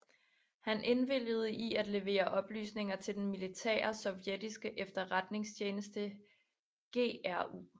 Han indvilligede i at levere oplysninger til den militære sovjetiske efterretningstjeneste GRU